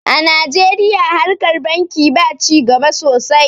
a najeriya harkar banki ba ci gaba sosai